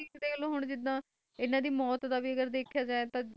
ਕਾਹਲੋਂ ਜਿੰਦਾ ਹਨ ਦੀ ਮੌਟ ਦਾ ਵੀ ਦਿੱਖਾ ਜੇ ਤਾ ਜਿੰਦਾ